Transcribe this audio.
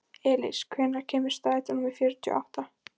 Elís, hvenær kemur strætó númer fjörutíu og átta?